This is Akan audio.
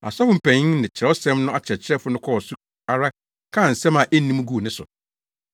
Asɔfo mpanyin ne Kyerɛwsɛm no akyerɛkyerɛfo no kɔɔ so ara kaa nsɛm a enni mu guu ne so.